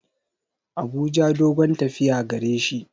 Abuja dogon tafiya gareshi.